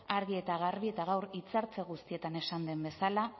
argi eta garbi eta gaur hitzaldi guztietan esan den bezala